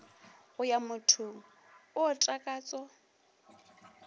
go ya mothong o takatso